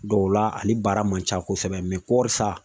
Dɔw la ani baara man ca kosɛbɛ kɔɔri sa